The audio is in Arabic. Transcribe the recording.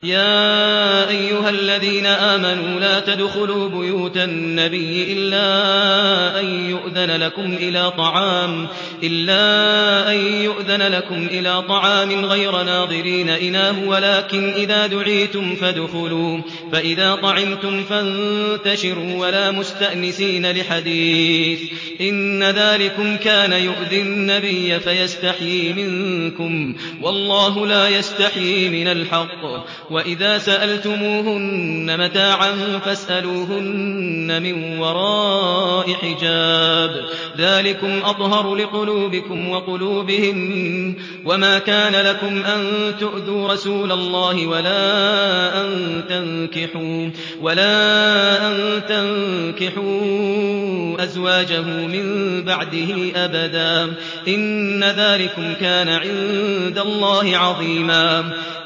يَا أَيُّهَا الَّذِينَ آمَنُوا لَا تَدْخُلُوا بُيُوتَ النَّبِيِّ إِلَّا أَن يُؤْذَنَ لَكُمْ إِلَىٰ طَعَامٍ غَيْرَ نَاظِرِينَ إِنَاهُ وَلَٰكِنْ إِذَا دُعِيتُمْ فَادْخُلُوا فَإِذَا طَعِمْتُمْ فَانتَشِرُوا وَلَا مُسْتَأْنِسِينَ لِحَدِيثٍ ۚ إِنَّ ذَٰلِكُمْ كَانَ يُؤْذِي النَّبِيَّ فَيَسْتَحْيِي مِنكُمْ ۖ وَاللَّهُ لَا يَسْتَحْيِي مِنَ الْحَقِّ ۚ وَإِذَا سَأَلْتُمُوهُنَّ مَتَاعًا فَاسْأَلُوهُنَّ مِن وَرَاءِ حِجَابٍ ۚ ذَٰلِكُمْ أَطْهَرُ لِقُلُوبِكُمْ وَقُلُوبِهِنَّ ۚ وَمَا كَانَ لَكُمْ أَن تُؤْذُوا رَسُولَ اللَّهِ وَلَا أَن تَنكِحُوا أَزْوَاجَهُ مِن بَعْدِهِ أَبَدًا ۚ إِنَّ ذَٰلِكُمْ كَانَ عِندَ اللَّهِ عَظِيمًا